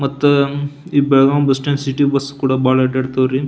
ಮತ್ತ ಈ ಬೆಳಗಾಂ ಬಸ್ಸ್ಟ್ಯಾಂಡ್ ಈ ಸಿಟಿ ಬಸ್ಸ ಕೂಡ ಬಹಳ ಅಡ್ಡ ಆಡ್ತಾವ್ ರೀ.